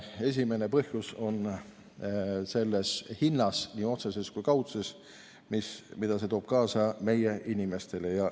Esimene põhjus on selles hinnas, nii otseses kui ka kaudses, mida see toob kaasa meie inimestele.